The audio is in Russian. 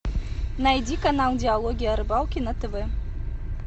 найди канал диалоги о рыбалке на тв